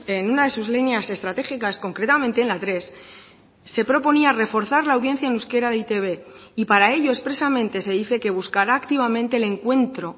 en una de sus líneas estratégicas concretamente en la tres se proponía reforzar la audiencia en euskera de e i te be y para ello expresamente se dice que buscará activamente el encuentro